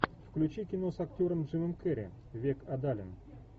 включи кино с актером джимом керри век адалин